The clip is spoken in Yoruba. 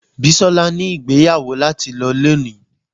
Bisola ni igbeyawo lati lo loni